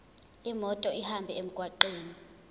imoto ihambe emgwaqweni